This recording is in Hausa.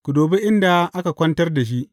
Ku dubi inda aka kwantar da shi.